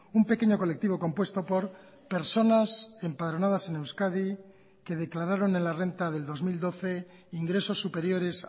un pequeño colectivo compuesto por personas empadronadas en euskadi que declararon en la renta del dos mil doce ingresos superiores